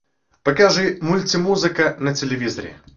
покажи мультимузыка на телевизоре